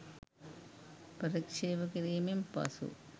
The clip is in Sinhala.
ප්‍රතික්‍ෂේප කිරීමෙන් පසු